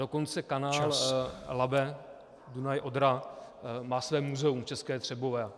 Dokonce kanál Labe-Dunaj-Odra má své muzeum v České Třebové.